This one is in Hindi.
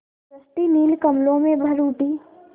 सृष्टि नील कमलों में भर उठी